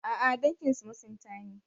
A'a, danginsu masinta ne.